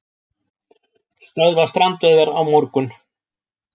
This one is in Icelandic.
Stöðva strandveiðar á morgun